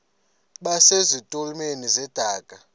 base zitulmeni zedaka